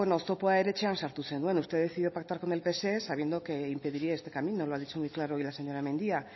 oztopoa ere etxean sartu zenuen usted decidió pactar con el pse sabiendo que impediría este camino lo ha dicho muy claro hoy la señora mendia